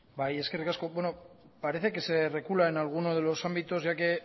bai eskerrik asko bueno parece que se recula en algunos de los ámbitos ya que